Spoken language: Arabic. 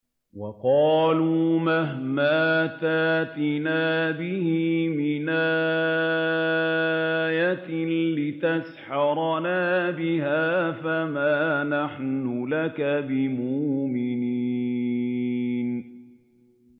وَقَالُوا مَهْمَا تَأْتِنَا بِهِ مِنْ آيَةٍ لِّتَسْحَرَنَا بِهَا فَمَا نَحْنُ لَكَ بِمُؤْمِنِينَ